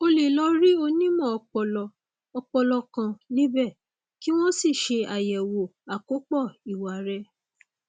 o lè lọ rí onímọ ọpọlọ ọpọlọ kan níbẹ kí wọn sì ṣe àyẹwò àkópọ ìwà rẹ